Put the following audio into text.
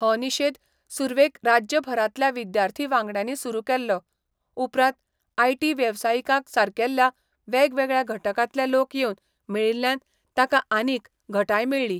हो निशेध सुरवेक राज्यभरांतल्या विद्यार्थी वांगड्यांनी सुरू केल्लो, उपरांत आयटी वेवसायिकांसारकेल्ल्या वेगवेगळ्या घटकांतले लोक येवन मेळिल्ल्यान ताका आनीक घटाय मेळ्ळी.